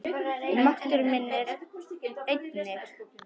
Og máttur minn einnig.